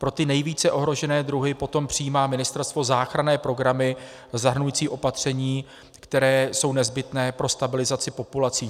Pro ty nejvíce ohrožené druhy potom přijímá ministerstvo záchranné programy zahrnující opatření, která jsou nezbytná pro stabilizaci populací.